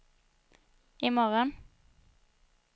imorgon